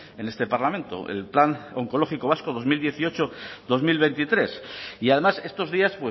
en este parlamento el plan oncológico vasco dos mil dieciocho dos mil veintitrés y además estos días